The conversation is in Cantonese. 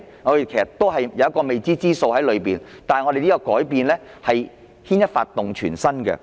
這一切都是未知之數，但這項改變牽一髮而動全身。